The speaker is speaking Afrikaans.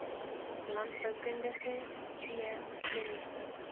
landboukundige c chemiese